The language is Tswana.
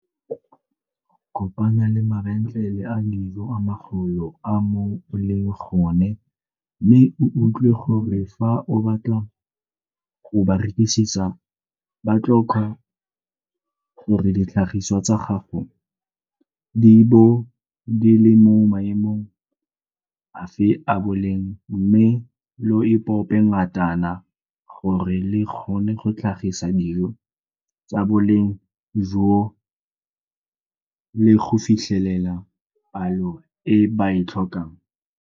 Kopana le mabentlele a dijo a magolo a mo o leng gone mme o utlwe gore fa o batla go ba rekisetsa ba tlhoka gore ditlhagisiwa tsa gago di bo di le mo maemong afe a boleng mme lo ipope ngatana gore le kgone go tlhagisa dijo tsa boleng joo le go fitlhelela palo e ba e tlhokang.